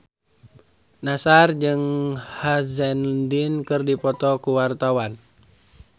Nassar jeung Sam Hazeldine keur dipoto ku wartawan